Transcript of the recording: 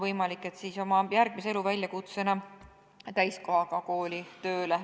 Võimalik, et keegi jääb elu järgmise väljakutsena täiskohaga kooli tööle.